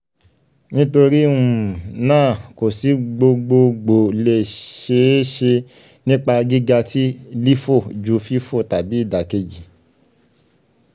nitori um naa ko si gbogboogbo le ṣee ṣe nipa giga ti lifo ju fifo tabi idakeji